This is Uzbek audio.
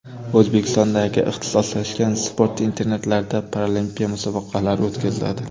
O‘zbekistondagi ixtisoslashgan sport internatlarida paralimpiya musobaqalari o‘tkaziladi.